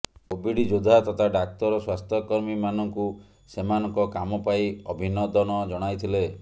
Covid ଯୋଦ୍ଧା ତଥା ଡାକ୍ତର ସ୍ବାସ୍ଥ୍ୟକମୀ ମାନଙ୍କୁ ସେମାନଙ୍କ କାମ ପାଇଁ ଅଭିନଦନ ଜଣାଇଥିଲେ